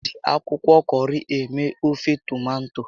Eji akwụkwọ kọrị eme ofe tomato